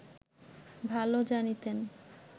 ভালো জানিতেন